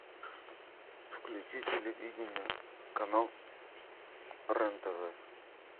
включи телевидение канал рен тв